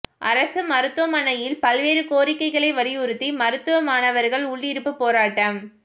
அரசு மருத்துவமனையில் பல்வேறு கோரிக்கைகளை வலியுறுத்தி மருத்துவ மாணவர்கள் உள்ளிருப்புப் போராட்டம்